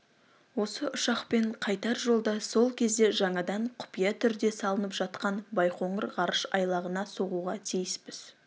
осы ұшақпен қайтар жолда сол кезде жаңадан құпия түрде салынып жатқан байқоңыр ғарыш айлағына соғуға тиіспіз